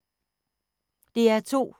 DR2